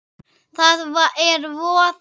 Það er voði